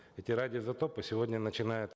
эти радиоизотопы сегодня начинают